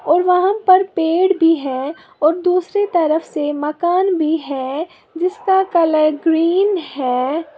और वहां पर पेड़ भी है और दूसरी तरफ से मकान भी है जिसका कलर ग्रीन है।